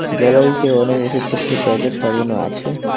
গ্যালারিতে অনেক ওষুধপত্রের প্যাকেট সাজানো আছে।